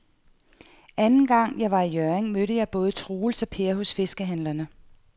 Anden gang jeg var i Hjørring, mødte jeg både Troels og Per hos fiskehandlerne.